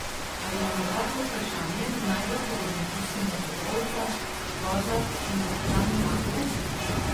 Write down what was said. Ali je morda to vprašanje najbolj podobno tistemu o ovcah, kozah in kapitanu ladje?